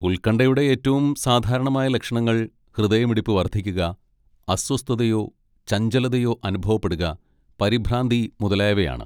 ഉൽകൺഠയുടെ ഏറ്റവും സാധാരണമായ ലക്ഷണങ്ങൾ ഹൃദയമിടിപ്പ് വർദ്ധിക്കുക, അസ്വസ്ഥതയോ ചഞ്ചലതയോ അനുഭവപ്പെടുക, പരിഭ്രാന്തി മുതലായവയാണ്.